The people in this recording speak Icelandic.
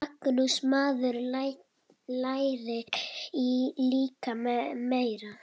Magnús: Maður lærir líka meira.